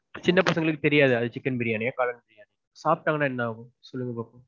சின்ன பசங்களுக்கு தெரியாது அது chicken biriyani யா காளான் biriyani யானு. சாப்பிட்டாங்கனா என்ன ஆகும்? சொல்லுங்க பாப்போம்.